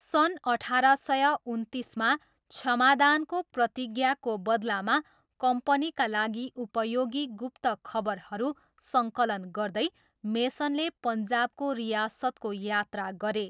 सन् अठार सय उन्तिसमा, क्षमादानको प्रतिज्ञाको बदलामा कम्पनीका लागि उपयोगी गुप्तखबरहरू सङ्कलन गर्दै, मेसनले पन्जाबको रियासतको यात्रा गरे।